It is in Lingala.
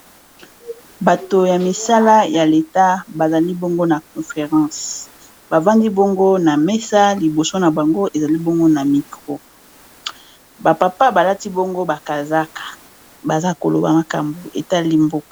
Bato ya misala ya leta bazali bango na conference bavandi bongo na mesa liboso na bango ezali bongo na micro ba papa balati bongo ba kazaka baza koloba makambu etali mboka.